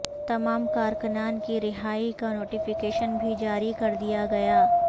تمام کارکنان کی رہائی کا نوٹیفکیشن بھی جاری کر دیا گیا